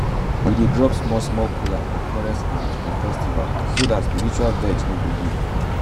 we dey drop small small kola for forest ants for festivals so dat spiritual vex no go dey.